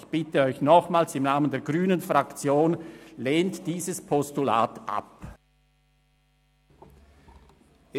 Ich bitte Sie nochmals im Namen der grünen Fraktion, dieses Postulat abzulehnen.